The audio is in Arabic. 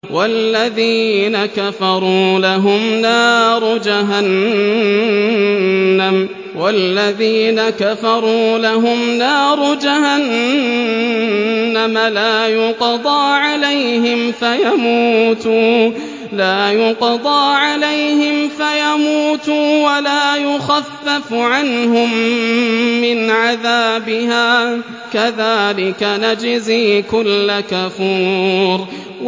وَالَّذِينَ كَفَرُوا لَهُمْ نَارُ جَهَنَّمَ لَا يُقْضَىٰ عَلَيْهِمْ فَيَمُوتُوا وَلَا يُخَفَّفُ عَنْهُم مِّنْ عَذَابِهَا ۚ كَذَٰلِكَ نَجْزِي كُلَّ كَفُورٍ